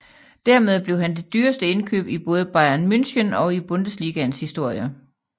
Dermed blev han det dyreste indkøb i både Bayern München og i Bundesligaens historie